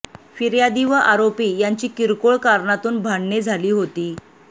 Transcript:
फिर्यादी व आरोपी यांची किरकोळ कारणातून भांडणे झाली होती